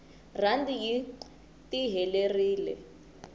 randi yi tiherelire